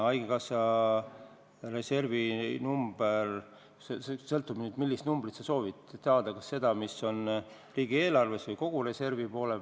Haigekassa reservi number sõltub sellest, millist numbrit sa saada soovid: kas seda, mis on riigieelarves, või kogu reservi?